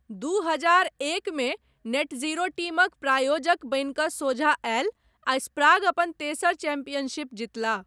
दू हजार एकमे नेटजीरो टीमक प्रायोजक बनि कऽ सोझाँ आयल आ स्प्राग अपन तेसर चैंपियनशिप जितलाह।